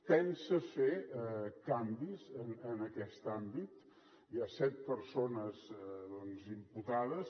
pensa fer canvis en aquest àmbit hi ha set persones imputades